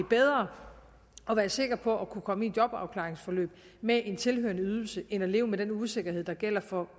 bedre at være sikker på at kunne komme i et jobafklaringsforløb med en tilhørende ydelse end at leve med den usikkerhed der gælder for